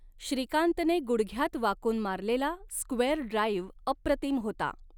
श्रीकांतने गुडघ्यात वाकून मारलेला स्क्वेअर ड्राईव्ह अप्रतिम होता.